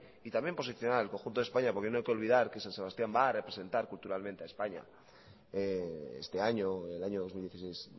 y también posicionar el conjunto de españa porque no hay que olvidar que san sebastián va a representar culturalmente a españa este año el año dos mil dieciséis